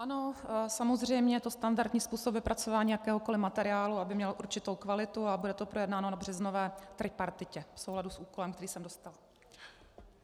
Ano, samozřejmě je to standardní způsob vypracování jakéhokoliv materiálu, aby měl určitou kvalitu, a bude to projednáno na březnové tripartitě v souladu s úkolem, který jsem dostala.